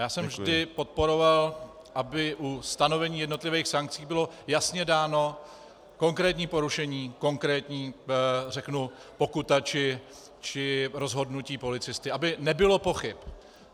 Já jsem vždy podporoval, aby u stanovení jednotlivých sankcí bylo jasně dáno konkrétní porušení, konkrétní, řeknu, pokuta či rozhodnutí policisty, aby nebylo pochyb.